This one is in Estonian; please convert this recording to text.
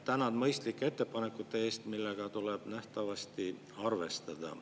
Tänan mõistlike ettepanekute eest, millega tuleb nähtavasti arvestada.